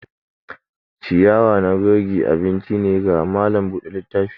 ciyawa na kogi abinci ne ga malam Bude littafi.